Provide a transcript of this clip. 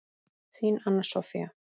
Þín, Anna Soffía.